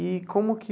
E como que...